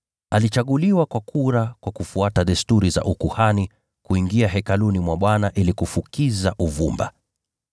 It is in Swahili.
alichaguliwa kwa kura kwa kufuata desturi za ukuhani, kuingia Hekaluni mwa Bwana ili kufukiza uvumba.